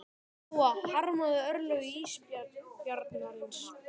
Lóa: Harmarðu örlög ísbjarnarins?